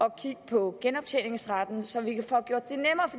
at kigge på genoptjeningsretten så